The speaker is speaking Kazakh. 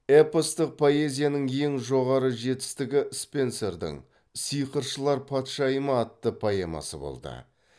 эпостық поэзияның ең жоғары жетістігі спенсердің сиқыршылар патшайымы атты поэмасы болды